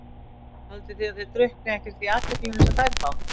Haldið þið að þið drukknið ekkert í athyglinni sem þær fá?